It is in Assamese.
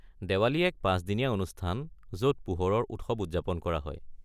দিৱালী এক পাঁচ-দিনীয়া অনুষ্ঠান য'ত পোহৰৰ উৎসৱ উদযাপন কৰা হয়।